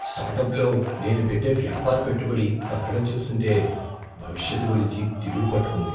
స్టార్టప్లో నేను పెట్టే వ్యాపార పెట్టుబడి తగ్గడం చూస్తుంటే భవిష్యత్తు గురించి దిగులు పట్టుకుంది.